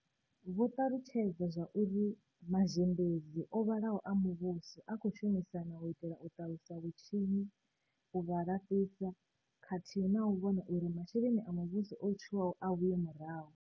Vho ṱalutshedza zwauri mazhendedzi o vhalaho a muvhuso a khou shumisana u itela u ṱalusa vhatshinyi, u vha laṱisa, khathihi na u vhona uri masheleni a muvhuso o tswiwaho a vhuye murahu.